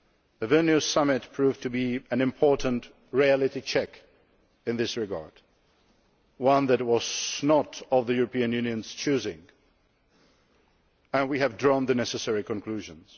The Vilnius Summit proved to be an important reality check in this regard, one that was not of the European Union's choosing and we have drawn the necessary conclusions.